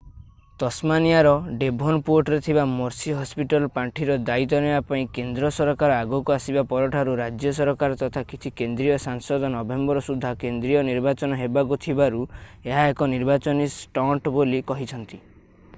ତସ୍‌ମାନିଆର ଡେଭୋନପୋର୍ଟରେ ଥିବା Mercy Hospital ପାଣ୍ଠିର ଦାୟିତ୍ୱ ନେବା ପାଇଁ କେନ୍ଦ୍ର ସରକାର ଆଗକୁ ଆସିବା ପରଠାରୁ ରାଜ୍ୟ ସରକାର ତଥା କିଛି କେନ୍ଦ୍ରୀୟ ସାଂସଦ ନଭେମ୍ବର ସୁଦ୍ଧା କେନ୍ଦ୍ରୀୟ ନିର୍ବାଚନ ହେବାକୁ ଥିବାରୁ ଏହା ଏକ ନିର୍ବାଚନୀ ଷ୍ଟଣ୍ଟ ବୋଲି କହିଛନ୍ତି।